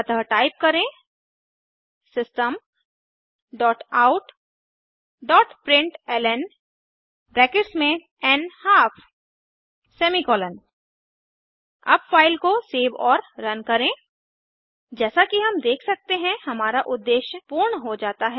अतः टाइप करें systemoutप्रिंटलन अब फ़ाइल को सेव और रन करें जैसा कि हम देख सकते हैं हमारा उद्देश्य पूर्ण हो जाता है